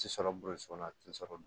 Ti sɔrɔ boroso la a ti sɔrɔ